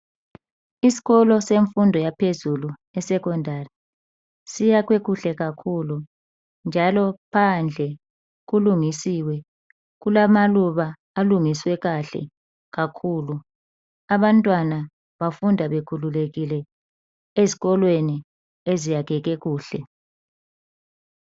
Isikolo semfundo yaphezulu iSecondary, siyakhwe kuhle kakhulu njalo phandle kulungisiwe. Kulamaluba alungiswe kahle kakhulu. Abantwana bafunda bekhululekile ezikolweni eziyakheke kuhle.